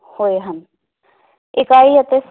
ਹੋਏ ਹਨ ਇਕਾਈ ਅਤੇ